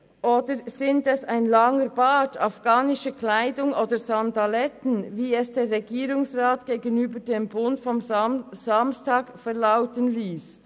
Oder sind es ein langer Bart, afghanische Kleidung oder Sandaletten, wie es Polizeidirektor Hans-Jürg Käser gegenüber der Zeitung «Der Bund» vom Samstag verlauten liess?